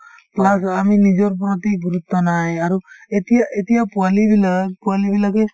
plus আমি নিজৰ প্ৰতি গুৰুত্ব নাই আৰু এতিয়া এতিয়া পোৱালিবিলাক পোৱালিবিলাকে